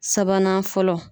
Sabanan fɔlɔ.